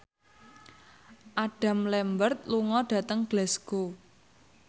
Adam Lambert lunga dhateng Glasgow